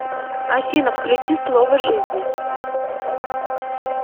афина включи слово жизни